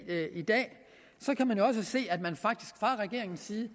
i dag så kan se at man fra regeringens side